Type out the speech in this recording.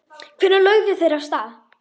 Hvenær lögðu þeir af stað?